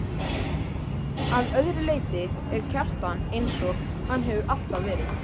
Að öðru leyti er Kjartan einsog hann hefur alltaf verið.